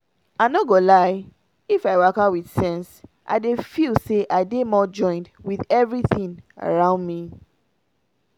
i no go lie — if i waka with sense i dey feel say i dey more joined with everything around me.